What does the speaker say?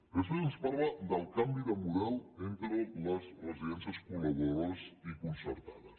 després ens parla del canvi de model entre les residències col·laboradores i concertades